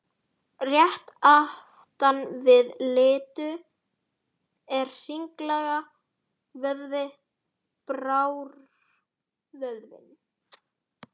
Rétt aftan við litu er hringlaga vöðvi, brárvöðvinn.